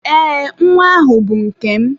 Ee, nwa ahụ bụ nke m.